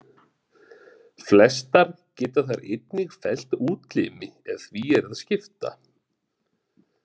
Flestar geta þær einnig fellt útlimi ef því er að skipta.